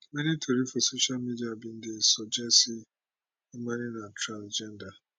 many tori for social media bin dey suggest say imane na transgender